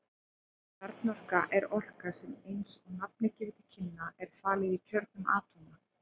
Kjarnorka er orka sem eins og nafnið gefur til kynna er falin í kjörnum atóma.